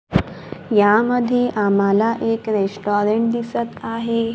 यामध्ये आम्हाला एक रेस्टॉरंट दिसत आहे.